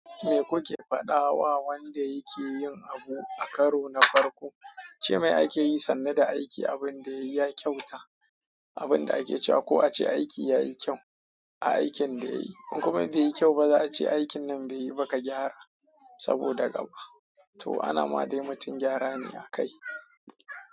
Me kuke faɗawa wanda yake yin abu a karo na farko? Ceme ake yi sannu da aiki abun da yayi ya kyauta, abun da ake cewa ko a ce aiki yayi kyau. Aikin da yayi. In kuma be yi kyau ba za a ce aikin nan be yi ba ka gyara, saboda gaba. To a nan ma dai mutum gyara ne akai.